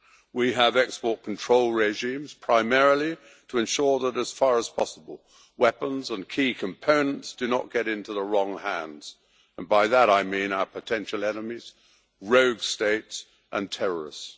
We have export control regimes, primarily to ensure that, as far as possible, weapons and key components do not get into the wrong hands, and by that I mean our potential enemies, rogue states and terrorists.